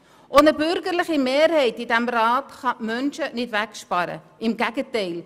Auch eine bürgerliche Mehrheit in diesem Rat kann diese Menschen nicht wegsparen, im Gegenteil: